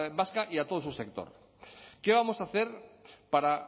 vasca y a todo su sector qué vamos a hacer para